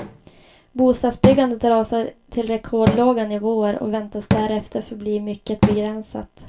Bostadsbyggandet rasar till rekordlåga nivåer och väntas därefter förbli mycket begränsat.